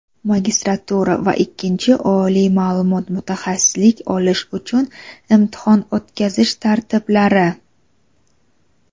magistratura va ikkinchi oliy ma’lumot (mutaxassislik) olish uchun imtihon o‘tkazish tartiblari.